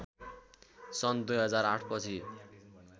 सन् २००८ पछि